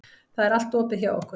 Það er allt opið hjá okkur.